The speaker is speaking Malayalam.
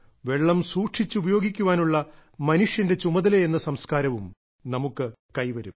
വെള്ളം സൂക്ഷിച്ചു ഉപയോഗിക്കാനുള്ള മനുഷ്യന്റെ ചുമതലയെന്ന സംസ്കാരവും നമുക്ക് കൈവരും